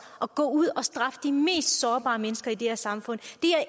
at gå ud og straffe de mest sårbare mennesker i det her samfund